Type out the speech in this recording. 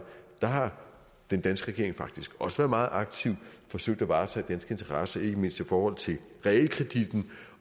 der har den danske regering faktisk også været meget aktiv og forsøgt at varetage danske interesser ikke mindst i forhold til realkreditten